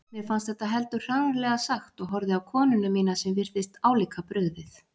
Mér fannst þetta heldur hranalega sagt og horfði á konuna mína sem virtist álíka brugðið.